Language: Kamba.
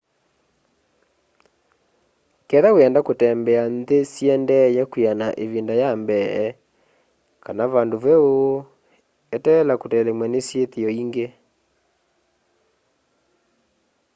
ketha wienda kutembea nthi syiendeye kwiana ivinda ya mbee kana vandu veũ eteela kutelemwa ni syithio ingi